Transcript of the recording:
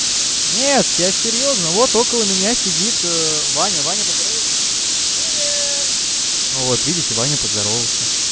нет я серьёзно вот около меня сидит ваня ваня поздоровайся привет вот видите ваню поздоровался